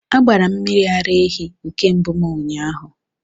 A gbara m mmiri ara ehi nke mbụm ụnyahụ